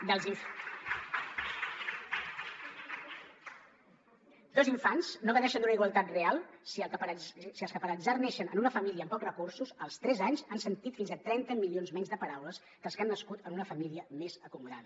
dos infants no gaudeixen d’una igualtat real si els que per atzar neixen en una família amb pocs recursos als tres anys han sentit fins a trenta milions menys de paraules que els que han nascut en una família més acomodada